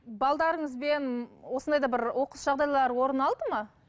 осындай да бір оқыс жағдайлар орын алды ма